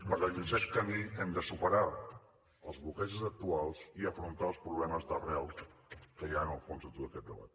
per aquest camí hem de superar els bloquejos actuals i afrontar els problemes d’arrel que hi ha en el fons de tot aquest debat